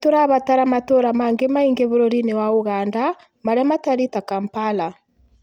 Nĩ tũrabatara matũũra mangĩ maingĩ bũrũriinĩ wa Uganda marĩa matariĩ ta Kampala